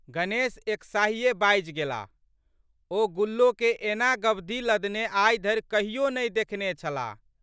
गणेश एकसाहिये बाजि गेलाह। ओ गुल्लोके एना गबधी लधने आइधरि कहियो नहि देखने छलाह।